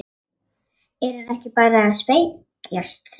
Er hann ekki bara að spekjast?